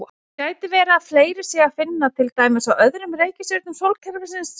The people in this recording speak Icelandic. Gæti verið að fleiri sé að finna til dæmis á öðrum reikistjörnum sólkerfisins?